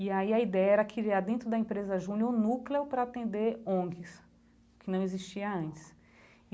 E aí a ideia era criar dentro da empresa Júnior um núcleo para atender ONGs, que não existia antes.